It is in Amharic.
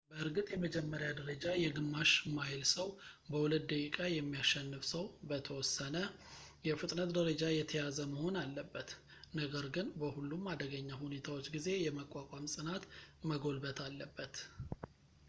በእርግጥ የመጀመሪያ ደረጃ የግማሽ ማይል ሰው በሁለት ደቂቃ የሚያሸንፍ ሰው በተወሰነ የፍጥነት ደረጃ የተያዘ መሆን አለበት ነገር ግን በሁሉም አደገኛ ሁኔታዎች ጊዜ የመቋቋም ጽናት መጎልበት አለበት